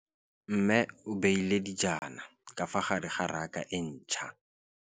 Mmê o beile dijana ka fa gare ga raka e ntšha.